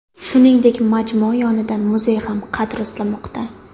Shuningdek, majmua yonidan muzey ham qad rostlamoqda.